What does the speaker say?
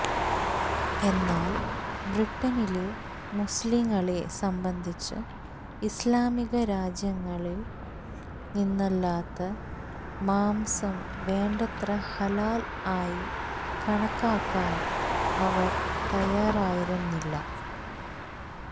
എന്നാല് ബ്രിട്ടനിലെ മുസ്ലീങ്ങളെ സംബന്ധിച്ച് ഇസ്ലാമിക രാജ്യങ്ങളില് നിന്നല്ലാത്ത മാംസം വേണ്ടത്ര ഹലാല് ആയി കണക്കാക്കാന് അവര് തയ്യാറായിരുന്നില്ല